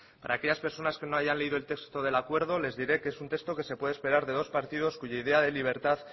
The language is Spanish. para aquellas personas que no hayan leído el texto del acuerdo les diré que es un texto que se puede esperar de dos partidos cuya idea de libertad